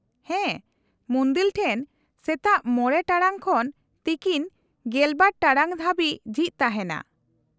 -ᱦᱮᱸ ᱾ ᱢᱩᱱᱫᱤᱞ ᱴᱷᱮᱱ ᱥᱮᱛᱟᱜ ᱕ ᱴᱟᱲᱟᱝ ᱠᱷᱚᱱ ᱛᱤᱠᱤᱱ ᱑᱒ ᱴᱟᱲᱟᱝ ᱦᱟᱹᱵᱤᱡ ᱡᱷᱤᱡ ᱛᱟᱦᱮᱱᱟ ᱾